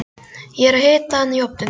Ég er að hita hana í ofninum.